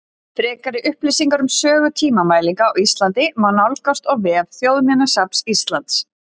Frekari upplýsingar um sögu tímamælinga á Íslandi má nálgast á vef Þjóðminjasafns Íslands.